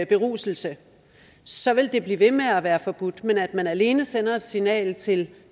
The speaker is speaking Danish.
beruselse så vil det blive ved med at være forbudt men at man alene sender et signal til